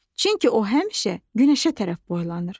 Çünki o həmişə günəşə tərəf boylanır.